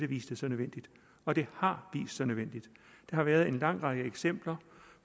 vise sig nødvendigt og det har vist sig nødvendigt der har været en lang række eksempler